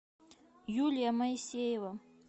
юлия моисеева